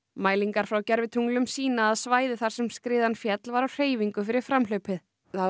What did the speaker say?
mælingar frá gervitunglum sýna að svæðið þar sem skriðan féll var á hreyfingu fyrir framhlaupið